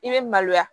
I bɛ maloya